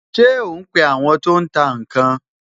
Ṣé o ń pe àwọn tó ń tà ǹ kan?